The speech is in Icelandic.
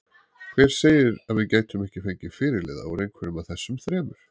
Hver segir að við gætum ekki fengið fyrirliða úr einhverjum af þessum þremur?